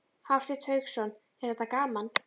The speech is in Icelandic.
Hafsteinn Hauksson: Er þetta gaman?